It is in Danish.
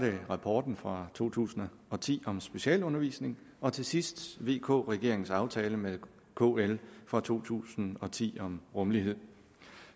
rapporten fra to tusind og ti om specialundervisning og til sidst vk regeringens aftale med kl fra to tusind og ti om rummelighed